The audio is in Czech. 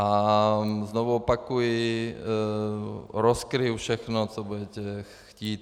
A znovu opakuji, rozkryji všechno, co budete chtít.